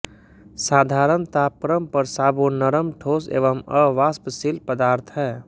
साधारण तापक्रम पर साबुन नरम ठोस एवं अवाष्पशील पदार्थ है